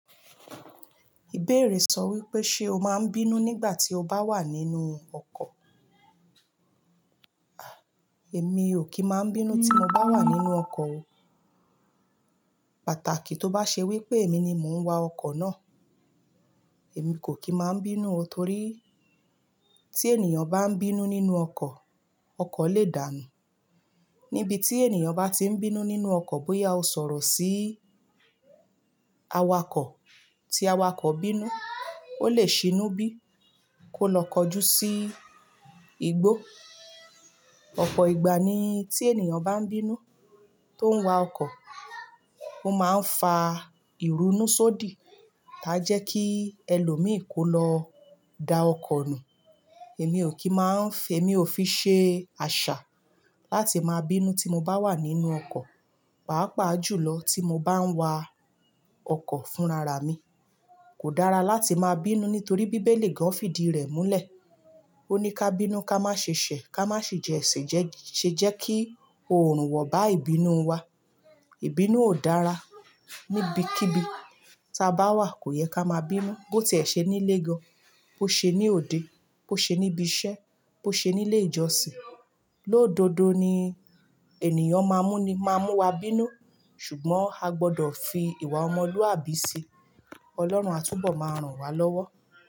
Ìbéèrè sọ wípé ṣe o máa ń bínú nígbà tí o bá wà nínú ọkọ̀? Èmi ò kí ń máa ń bínú tí mo bá wà nínú ọkọ̀ o. Pàtàkì tó bá ṣe wípé èmi ni mò ń wa ọkọ̀ náà. Èmi kò kí máa ń bínú o torí tí ènìyàn bá ń bínú nínú ọkọ̀, ọkọ̀ lè dànù. Níbi tí ènìyàn bá ti ń bínú nínú ọkọ̀ bóyá ó ń sọ̀rọ̀ sí awakọ̀ tí awakọ̀ bínú, ó lè ṣínú bí kó lọ kọjú sí igbó. Ọ̀pọ̀ ìgbà ni tí ènìyàn bá ń bínú tó ń wa ọkọ̀, ó máa ń fa ìrunú sódìí táa jẹ́ kí ẹlòmíràn kó lọ da ọkọ̀ nù. Èmi ò kí máa ń fẹ́, èmi ò fi ṣe àṣà láti máa bínú tí mo bá wà nínú ọkọ̀. Pàápàá jùlọ tí mo bá ń wa ọkọ̀ fún rara mi. Kò dára láti máa bínú nítorí bí Bíbélì gan fìdí rẹ̀ múlẹ̀. Ó ní ká bínú, ká má ṣe ṣẹ̀, ká má ṣe jẹ́ èsè jẹ́-- ṣe jẹ́ kí oòrùn wọ̀ bá ìbínú wa. Ìbínú ò dára. Níbi kíbi táa bá wà kò yẹ ká máa bínú. Bó ti è ṣe nílé gan, bó ṣe ní òde, bó ṣe níbi iṣẹ́, bó ṣe nílé ìjọsìn. Lódodo ni ènìyàn má mú ni, má mú wa bínú. Ṣùgbọ́n a gbọdọ̀ fi ìwà ọmọlúàbí si. Ọlọ́run á túbọ̀ máa ràn wá lọ́wọ́.